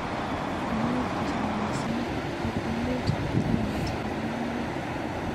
Maiwek chechang mising ik emet ainet nenbo maiwek.